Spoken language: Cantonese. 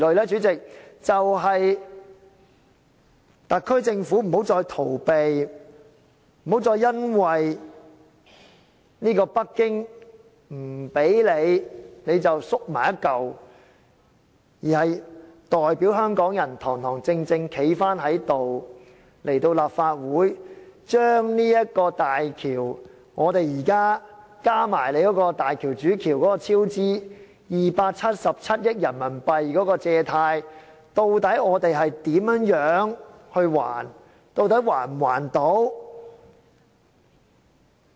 主席，便是特區政府不要再逃避，不要再因為北京不給你便縮作一團，而是要代表香港人，堂堂正正地站起來，向立法會交代港珠澳大橋——加上大橋主橋277億元人民幣超支款項——的貸款，究竟我們會如何還款？